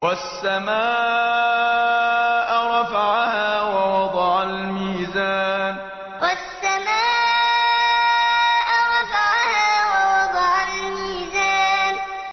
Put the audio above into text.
وَالسَّمَاءَ رَفَعَهَا وَوَضَعَ الْمِيزَانَ وَالسَّمَاءَ رَفَعَهَا وَوَضَعَ الْمِيزَانَ